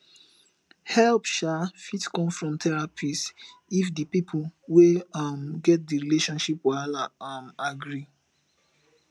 help um fit come from therapist if di pipo wey um get di relationship wahala um agree